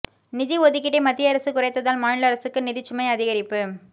நிதி ஒதுக்கீட்டை மத்திய அரசு குறைத்ததால் மாநில அரசுக்கு நிதிச்சுமை அதிகரிப்பு